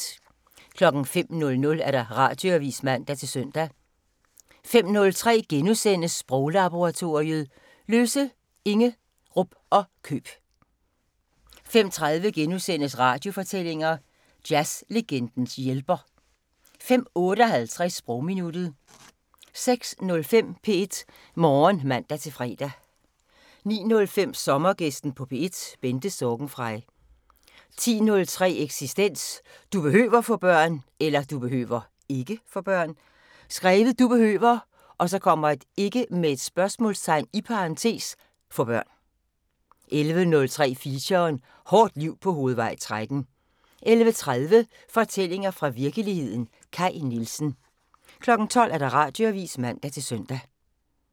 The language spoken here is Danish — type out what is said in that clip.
05:00: Radioavisen (man-søn) 05:03: Sproglaboratoriet: -løse, -inge, -rup og -køb * 05:30: Radiofortællinger: Jazz-legendens hjælper * 05:58: Sprogminuttet 06:05: P1 Morgen (man-fre) 09:05: Sommergæsten på P1: Bente Sorgenfrey 10:03: Eksistens: Du behøver (ikke?) få børn 11:03: Feature: Hårdt liv på Hovedvej 13 11:30: Fortællinger fra virkeligheden – Kaj Nielsen 12:00: Radioavisen (man-søn)